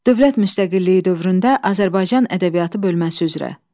Dövlət müstəqilliyi dövründə Azərbaycan Ədəbiyyatı bölməsi üzrə.